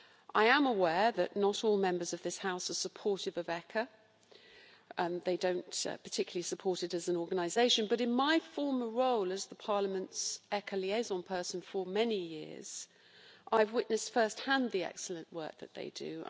I am aware that not all Members of this House are supportive of ECHA they don't particularly support it as an organisation but in my former role as Parliament's ECHA liaison person for many years, I witnessed at first hand the excellent work that they do.